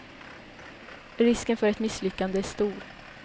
Risken för ett misslyckande är stor.